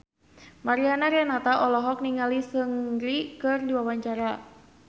Mariana Renata olohok ningali Seungri keur diwawancara